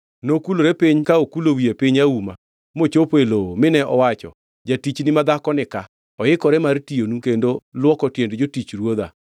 Nokulore piny ka okulo wiye piny auma mochopo e lowo mine owacho, “Jatichni madhako nika, oikore mar tiyonu kendo luoko tiend jotich ruodha.”